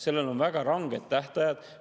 Sellel on väga ranged tähtajad.